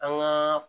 An gaa